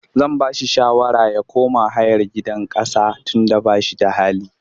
Zan ba shi shawara ya kama hayar gidan ƙasa tunda ba shi da hali.